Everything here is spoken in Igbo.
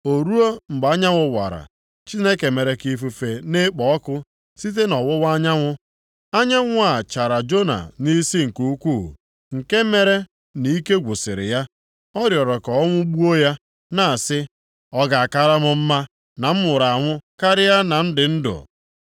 O ruo, mgbe anyanwụ wara, Chineke mere ka ifufe na-ekpo ọkụ site nʼọwụwa anyanwụ, anyanwụ a chara Jona nʼisi nke ukwuu nke mere nʼike gwụsịrị ya. Ọ rịọrọ ka ọnwụ gbuo ya, na-asị, “ọ ga a kaara m mma na m nwụrụ anwụ, karịa na m dị ndụ.”